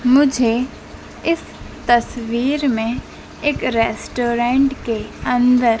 मुझे इस तस्वीर में एक रेस्टोरेंट के अंदर--